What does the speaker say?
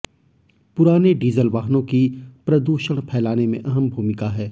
पुराने डीजल वाहनों की प्रदूषण फैलाने में अहम भूमिका है